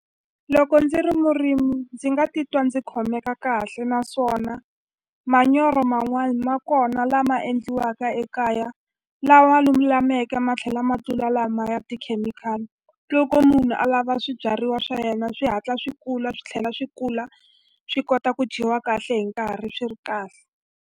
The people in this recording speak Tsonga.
Loko ndzi ri murimi ndzi nga titwa ndzi khomeka kahle naswona manyoro man'wani ma kona lama endliwaka ekaya lawa lulameke ma tlhela ma tlula lama ya tikhemikhali loko munhu alava swibyariwa swa yena swi hatla swi kula swi tlhela swi kula swi kota ku dyiwa kahle hi nkarhi swi ri kahle.